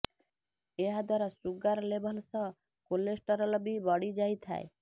ଏହାଦ୍ୱାରା sugar level ସହ cholesterol ବି ବଢ଼ି ଯାଇଥାଏ